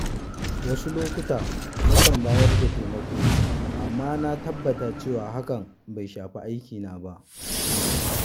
Wasu lokuta na kan bayar da taimako, amma na tabbata cewa hakan bai shafi aikina ba.